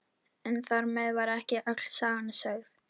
Ég veit ekkert, hver nefndi mitt nafn?